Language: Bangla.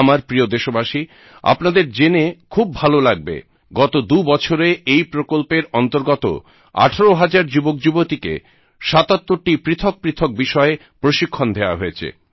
আমার প্রিয় দেশবাসী আপনাদের জেনে খুব ভালো লাগবে গত দু বছরে এই প্রকল্পের অন্তর্গত 18000 যুবকযুবতীকে 77 টি পৃথক পৃথক বিষয়ে প্রশিক্ষণ দেওয়া হয়েছে